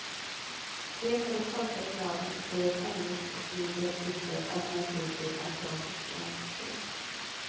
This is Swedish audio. Te på de torkade bladen blir ett hemgjort och mindre bittert alternativ till asiatiskt grönt te.